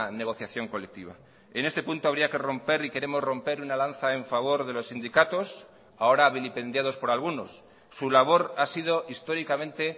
negociación colectiva en este punto habría que romper y queremos romper una lanza en favor de los sindicatos ahora vilipendiados por algunos su labor ha sido históricamente